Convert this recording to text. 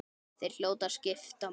Þeir hljóta að skipta máli.